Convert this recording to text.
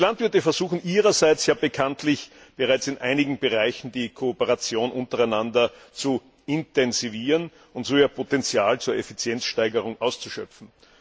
Die Landwirte versuchen Ihrerseits bekanntlich bereits, in einigen Bereichen die Kooperation untereinander zu intensivieren und so ihr Potenzial zur Effizienzsteigerung auszuschöpfen.